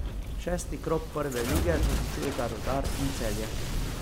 Šesti krog Prve lige zaključujeta Rudar in Celje.